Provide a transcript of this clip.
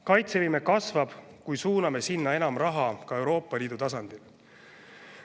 Kaitsevõime kasvab, kui suuname sinna enam raha ka Euroopa Liidu tasandil.